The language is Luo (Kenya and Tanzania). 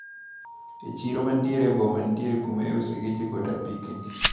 E chiro mantiere e boma nitiere kuma iusoe geche kod apikni.